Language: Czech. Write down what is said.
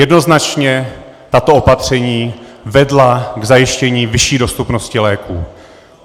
Jednoznačně tato opatření vedla k zajištění vyšší dostupnosti léků.